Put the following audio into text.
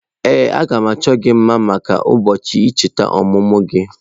Ee, a ga m achọ gị mma maka ụbọọchị icheta ọmụmụ gị.